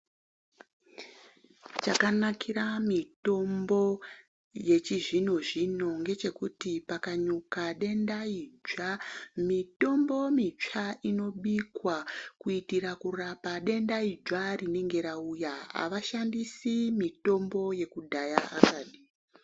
Chakanakira mitombo yechizvino zvino ngechekuti pakanyuka denda idzva mitombo mitsva inobikwa kuitira kurapa denda idzva rinenge rauya avashandisi mitombo yekudhaya akadi.